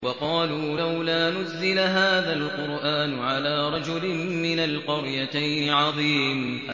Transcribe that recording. وَقَالُوا لَوْلَا نُزِّلَ هَٰذَا الْقُرْآنُ عَلَىٰ رَجُلٍ مِّنَ الْقَرْيَتَيْنِ عَظِيمٍ